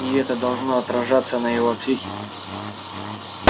и это должно отражаться на его психике